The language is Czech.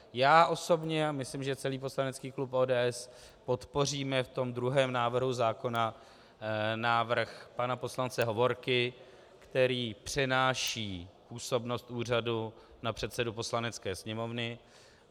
Já osobně a myslím, že celý poslanecký klub ODS, podpoříme v tom druhém návrhu zákona návrh pana poslance Hovorky, který přenáší působnost úřadu na předsedu Poslanecké sněmovny.